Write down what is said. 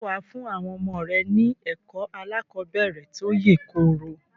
Ǹjẹ́ wà á fún àwọn ọmọ rẹ ní ẹ̀kọ́ aláàkọ́bẹ̀rẹ̀ tó yèkoro?